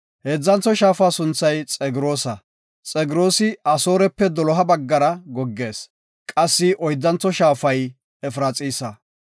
Heedzantho shaafa sunthay Xegroosa. Xegroosi Asoorepe doloha baggara goggees. Qassi oyddantho shaafay Efraxiisa.